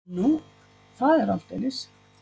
Nú, það er aldeilis.